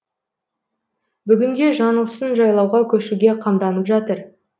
бүгінде жаңылсын жайлауға көшуге қамданып жатыр